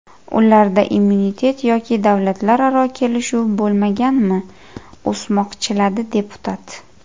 Ularda immunitet yoki davlatlararo kelishuv bo‘lmaganmi?” o‘smoqchiladi deputat.